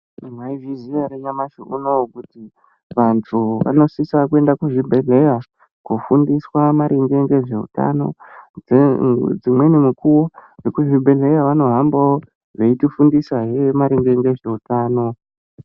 Mwaizviziya ere nyamashi unowu kuti vantu vanosisa kuenda kuzvibhedhleya kufundiswa maringe ngezveutano dzimweni mikuwo vekuzvibhehleya vanohambawo veitifundisahe maringe nezveutano.